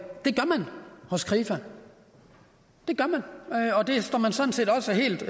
hos krifa det gør man og det står man sådan set også helt